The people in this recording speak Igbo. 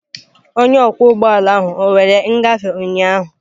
Onye ọkwọ ụgbọ ala ahụ ọ were ngafe ụnyaahụ?